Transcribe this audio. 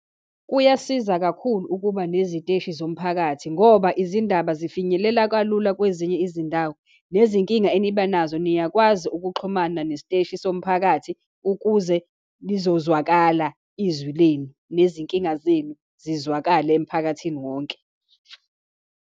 Kuyasiza kakhulu ukuba neziteshi zomphakathi, ngoba izindaba zifinyelela kalula kwezinye izindawo, nezinkinga eniba nazo niyakwazi ukuxhumana nesiteshi somphakathi, ukuze lizozwakala izwi lenu, nezinkinga zenu zizwakale emphakathini wonke.